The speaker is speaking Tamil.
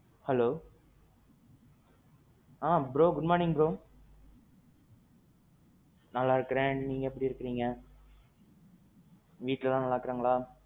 Hello. ஆ. bro Good Morning bro. நல்லா இருக்கிறேன் நீங்க எப்பிடி இருக்கீங்க? வீட்ல எல்லாம் நல்லா இருக்காங்களா?